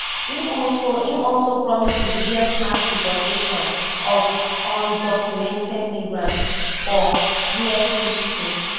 im also im also promise di biggest mass deportation of undocumented migrants for us history